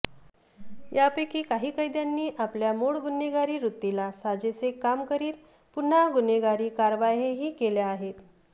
यापैकी काही कैद्यांनी आपल्या मूळ गुन्हेगारी वृत्तीला साजेसे काम करीत पुन्हा गुन्हेगारी कारवायाही केल्या आहेत